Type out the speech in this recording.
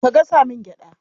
Ka gasa min gyaɗa.